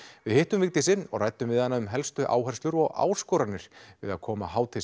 við hittum Vigdísi og ræddum við hana um helstu áherslur og áskoranir við að koma hátíð